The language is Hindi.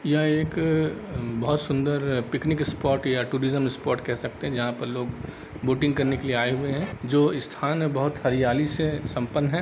यह एक अ बहुत सुन्दर पिकनिक स्पॉट या टुरिज़म स्पॉट केह सकते है जहा पर लोग बोटिंग करने के लिए आए हुए है जो स्थान है बहुत हरियाली से सम्पन्न है ।